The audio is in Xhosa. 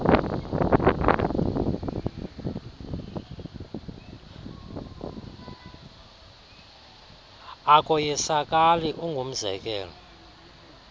akoyisakali neam ungumzekelo